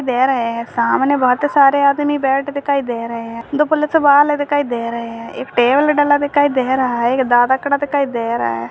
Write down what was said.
दे रहे हैं सामने बहोत सारे आदमी बैठ दिखाई दे रहे हैं दो पुलिस वाले दिखाई दे रहे हैं एक टेबल डला दिखाई रहा है एक दादा खड़ा दिखाई दे रहा है।